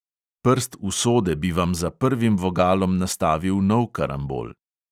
Prst usode bi vam za prvim vogalom nastavil nov karambol.